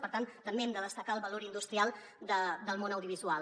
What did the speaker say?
per tant també hem de destacar el valor industrial del món audiovisual